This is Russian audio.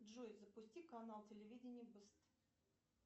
джой запусти канал телевидение бэст